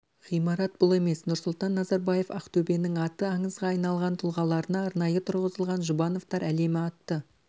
ғимарат бұл емес нұрсұлтан назарбаев ақтөбенің аты аңызға айналған тұлғаларына арнайы тұрғызылған жұбановтар әлемі атты